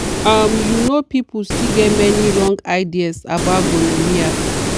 um you know people still get many wrong ideas about gonorrhea.